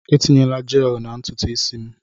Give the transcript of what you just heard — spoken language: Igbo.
Etinyena Jeelụ na ntutu isi m!